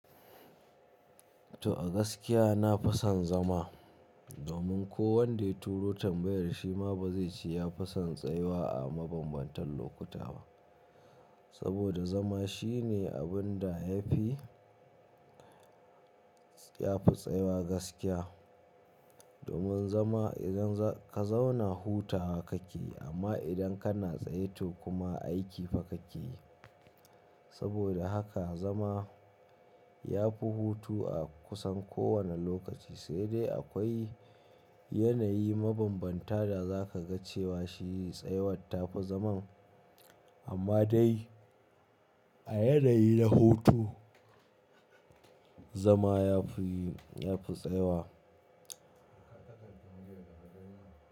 To a gaskiya nafison zama, domin ko wanda ya turo tambayar shima bazai ce yafison tsayuwa a mabanbantan lokuta ba. Saboda zama shine abunda yafi, yafi tsayuwa gaskiya. Domin zama idan ka zauna huta kake, amma idan kana tsaye to kuma aiki fa kakeyi. Saboda haka zama yafi hutu a kusan ko wanne lokaci, saidai akwai yanayi mabambanta da zakaga cewa shi tsayawar tafi zaman. Amma dai a yanayi na hutu, zama yafi, yafi tsayuwa.